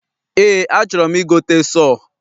Eé, achọrọ m igote sọọ.